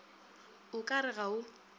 o ka re ga o